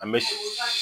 An bɛ